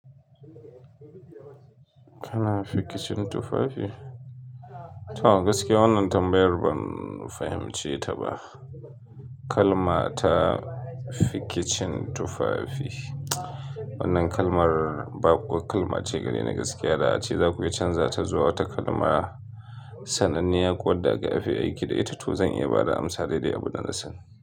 Kana fikicin tufafi? To gaskiya wannan tambayar ban fahimce ta ba. Kalma ta fikicin tufafi. Wannan kalmar ba kukal bace gareni gaskiya da a ce zaku iya canza ta zuwa wata kalma sananniya ko wadanda aka fi aiki da ita. To zan iya ba da amsa daidai abunda nasan.